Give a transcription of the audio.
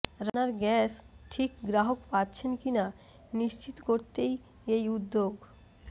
রান্নার গ্যাস ঠিক গ্রাহক পাচ্ছেন কিনা নিশ্চিত করতেই এই উদ্য়োগ